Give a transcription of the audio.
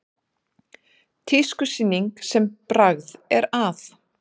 Tískusýning sem bragð er að